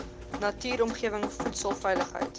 natuurlike omgewing voedselveiligheid